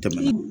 Tɛmɛnen